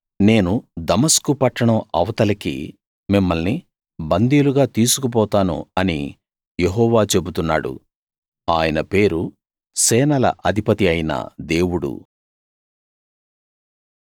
కాబట్టి నేను దమస్కు పట్టణం అవతలికి మిమ్మల్ని బందీలుగా తీసుకుపోతాను అని యెహోవా చెబుతున్నాడు ఆయన పేరు సేనల అధిపతి అయిన దేవుడు